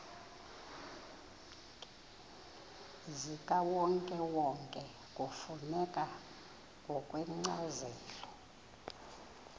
zikawonkewonke kufuneka ngokwencazelo